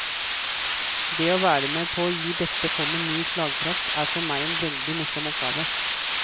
Det å være med på å gi dette fondet ny slagkraft er for meg en veldig morsom oppgave.